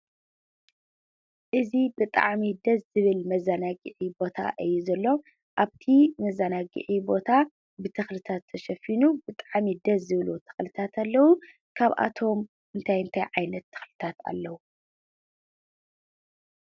እዚ ብጣዕሚ ደስ ዝብል መዘናግዒ ቦታ እዩ ዘሎ፡፡ ኣብቲ መዘናግዒ ቦታ ብተኽልታት ተሸፊኑ ብጣዕሚ ደስ ዝብሉ ተኽልታት ኣለው፡፡ ካብኣቶም እንታይ እንታይ ዓይነት ተኽልታት ኣለው?